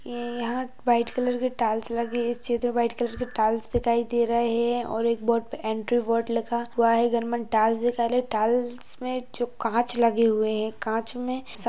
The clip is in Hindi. ये यहा व्हाइट कलर के टाइल्स लगे है इस क्षेत्र मे व्हाइट कलर के टाइल्स दिखाई दे रहे है और एक बोर्ड पे एंट्री बोर्ड लिखा हुआ है घर में टाइल्स दिखाई ले टाइल्स में जो काच लगे हुए है काच में सा --